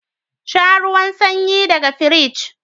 Shan ruwan sanyi daga firij